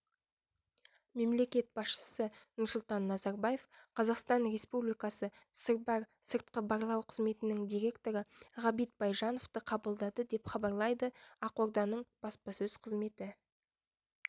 мемлекет басшысы нұрсұлтан назарбаев қазақстан республикасы сырбар сыртқы барлау қызметінің директоры ғабит байжановты қабылдады деп хабарлайды ақорданың баспасөз қызметі